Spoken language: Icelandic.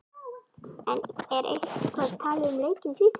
En er eitthvað talað um leikinn í Svíþjóð?